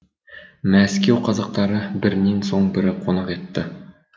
мәскеу қазақтары бірінен соң бірі қонақ етті